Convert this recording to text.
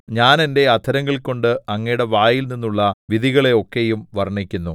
ഞാൻ എന്റെ അധരങ്ങൾ കൊണ്ട് അങ്ങയുടെ വായിൽനിന്നുള്ള വിധികളെ ഒക്കെയും വർണ്ണിക്കുന്നു